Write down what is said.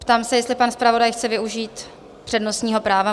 Ptám se, jestli pan zpravodaj chce využít přednostního práva?